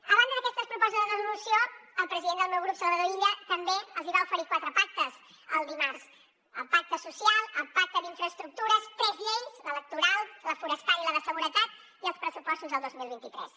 a banda d’aquestes propostes de resolució el president del meu grup salvador illa també els hi va oferir quatre pactes el dimarts el pacte social el pacte d’infraestructures tres lleis l’electoral la forestal i la de seguretat i els pressupostos del dos mil vint tres